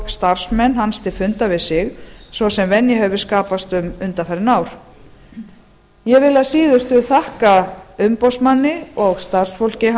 starfsmenn hans til fundar við sig svo sem venja hefur skapast um undanfarin ár ég vil að síðustu þakka umboðsmanni og starfsfólki